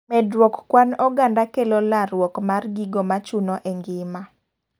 Medruok kwan oganda kelo laruok mar gigo machuno e ng'ima.